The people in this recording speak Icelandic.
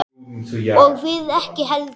Og við ekki heldur.